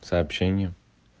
сообщение